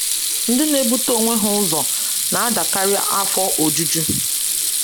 Ndị na-ebute onwe ha ụzọ na-adịkarị afọ ojuju.